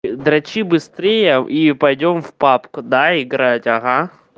дрочи быстрее и пойдём в папку да играть ага